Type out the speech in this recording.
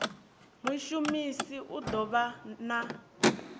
mushumisi u ḓo vha na